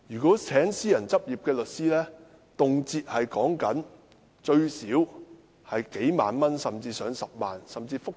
聘請私人執業律師動輒須花上數萬元甚至10萬元。